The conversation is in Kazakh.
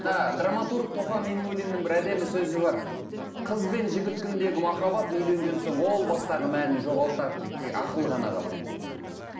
мына драмматург тофаниннулиннің бір әдемі сөзі бар қыз бен жігіт күніндегі махаббат үйленген соң ол бастағы мәнін жоғалтады дейді тек ақыл ғана қалады дейді